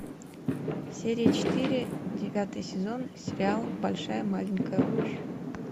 серия четыре девятый сезон сериал большая маленькая ложь